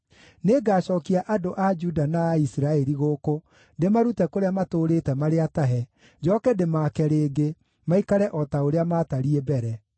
Nĩngacookia andũ a Juda na a Isiraeli gũkũ ndĩmarute kũrĩa matũũrĩte marĩ atahe, njooke ndĩmaake rĩngĩ, maikare o ta ũrĩa maatariĩ mbere.